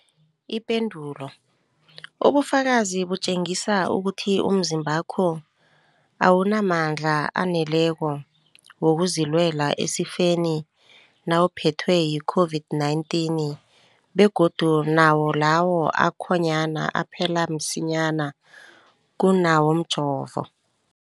Ipendulo, ubufakazi butjengisa ukuthi umzimbakho awunamandla aneleko wokuzilwela esifeni nawuphethwe yi-COVID-19, begodu nawo lawo akhonyana aphela msinyana kunawomjovo.